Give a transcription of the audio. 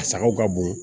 A sagaw ka bon